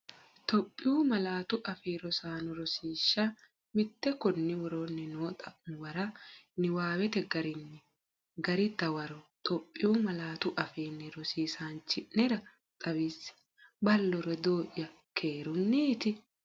Itophiyu Malaatu Afii Roso Rosiishsha Mite Konni woroonni noo xa’muwara niwaawete garinni gari dawaro Itophiyu malaatuAfiinni rosiisaanchi’nera xawisse, Ballo rodoo’ya keerunniiti?